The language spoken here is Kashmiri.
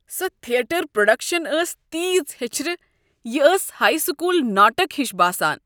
سۄ تھیٹر پروڈکشن ٲس تیٖژ ہیچھرٕ۔ یہ ٲس ہایی سکول ناٹک ہِش باسان۔